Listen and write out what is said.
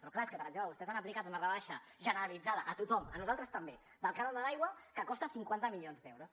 però clar és que per exemple vostès han aplicat una rebaixa generalitzada a tothom a nosaltres també del cànon de l’aigua que costa cinquanta milions d’euros